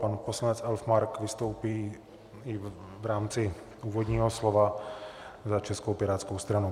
Pan poslanec Elfmark vystoupí i v rámci úvodního slova za Českou pirátskou stranu.